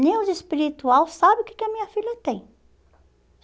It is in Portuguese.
Nem os espiritual sabe o que que a minha filha tem.